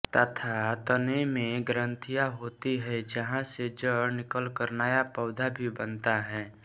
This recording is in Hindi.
तथा तने में ग्रंथियाँ होती हैं जहाँ से जड़ निकलकर नया पौधा भी बनता है